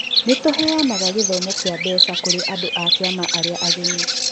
Nĩ tũheanaga gĩthomo kĩa mbeca kũrĩ andũ a kĩama arĩa ageni.